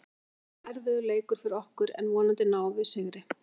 Þetta verður erfiður leikur fyrir okkur en vonandi náum við sigri.